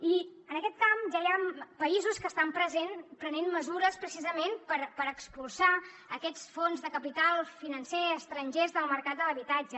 i en aquest camp ja hi ha països que estan prenent mesures precisament per expulsar aquests fons de capital financer estrangers del mercat de l’habitatge